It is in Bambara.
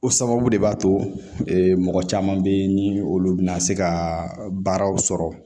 O sababu de b'a to mɔgɔ caman be yen ni olu bina se ka baaraw sɔrɔ